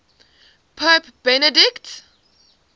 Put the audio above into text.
pope benedict